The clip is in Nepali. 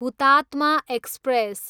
हुतातमा एक्सप्रेस